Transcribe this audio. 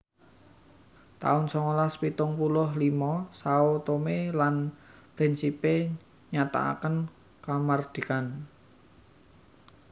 taun songolas pitung puluh limo Sao Tome lan Principe nyatakaken kamardikan